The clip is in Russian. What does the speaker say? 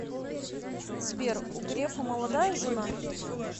сбер у грефа молодая жена